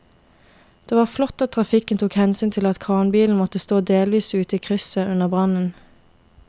Det var flott at trafikken tok hensyn til at kranbilen måtte stå delvis ute i krysset under brannen.